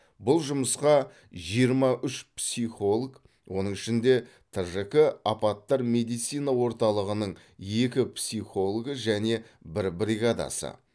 бұл жұмысқа жиырма үш психолог оның ішінде тжк апаттар медицина орталығының екі психологы және бір бригадасы